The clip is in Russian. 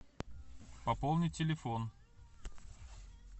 пополни телефон